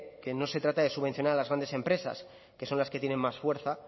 que no se trata de subvencionar a las grandes empresas que son las que tienen más fuerza